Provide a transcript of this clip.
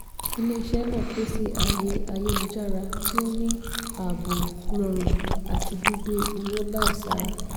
ilé-iṣẹ́ náà pèsè ààyè ayélujára tí o ní ààbò rọrùn àti gbígbé owó láisára.